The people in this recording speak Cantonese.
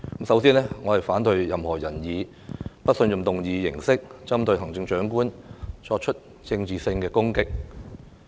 首先，我反對任何人以不信任議案形式，針對行政長官作出政治攻擊。